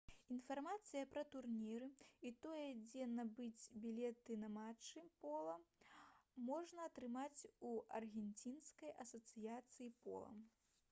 інфармацыю пра турніры і тое дзе набыць білеты на матчы пола можна атрымаць у аргенцінскай асацыяцыі пола